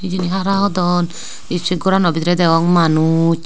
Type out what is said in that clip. hara hodon iskul gorano bidirey degong manus.